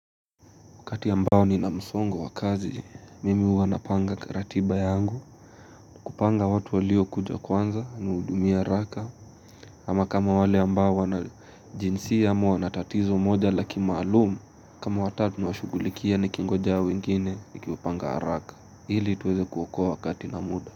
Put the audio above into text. Wakati ambao ni na msongo wakazi, mimi huwa napanga ratiba yangu, kupanga watu walio kuja kwanza, nudumie haraka, ama kama wale ambao wana jinsi ya moa natatizo moja laki maalumu, kama watatu washugulikia ni kingoja wengine, nikiwapanga haraka, hili tuweze kuokoa wakati na muda.